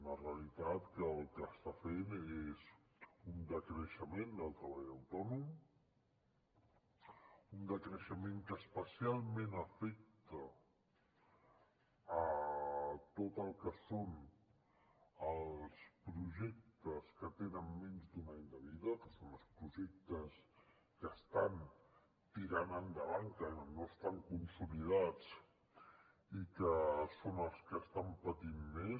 una realitat que el que està fent és un decreixement del treball autònom un decreixement que especialment afecta tot el que són els projectes que tenen menys d’un any de vida que són els projectes que estan tirant endavant que no estan consolidats i que són els que estan patint més